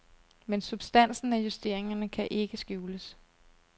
Men substansen af justeringerne kan ikke skjules.